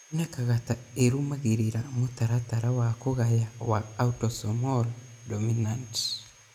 Ĩonekaga ta ĩrũmagĩrĩra mũtaratara wa kũgaya wa autosomal dominant.